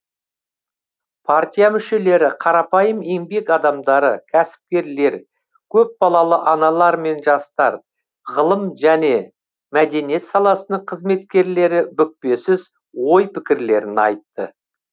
партия мүшелері қарапайым еңбек адамдары кәсіпкерлер көпбалалы аналар мен жастар ғылым және мәдениет саласының қызметкерлері бүкпесіз ой пікірлерін айтты